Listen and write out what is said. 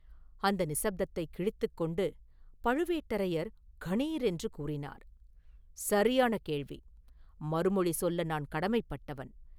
அந்த நிசப்தத்தைக் கிழித்துக் கொண்டு பழுவேட்டரையர் கணீர் என்று கூறினார்: “சரியான கேள்வி; மறுமொழி சொல்ல நான் கடமைப்பட்டவன்.